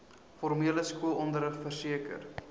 formele skoolonderrig verseker